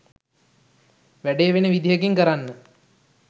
වැඩේ වෙන විදිහකින් කරන්න